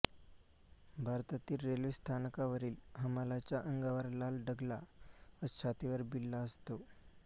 भारतातील रेल्वे स्थानकांवरील हमालांच्या अंगावर लाल डगला व छातीवर बिल्ला असतो